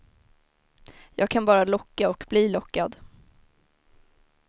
Jag kan bara locka och bli lockad.